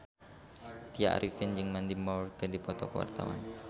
Tya Arifin jeung Mandy Moore keur dipoto ku wartawan